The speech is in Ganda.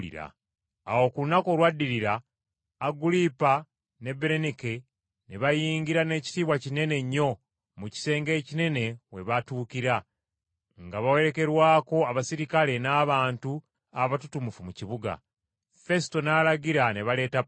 Awo ku lunaku olwaddirira Agulipa ne Berenike ne bayingira n’ekitiibwa kinene nnyo mu kisenge ekinene we batuukira, nga bawerekerwako abaserikale n’abantu abatutumufu mu kibuga. Fesuto n’alagira ne baleeta Pawulo.